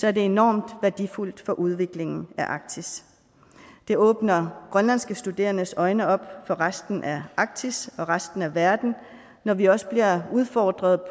er det enormt værdifuldt for udviklingen af arktis det åbner grønlandske studerendes øjne op for resten af arktis og resten af verden når vi også bliver udfordret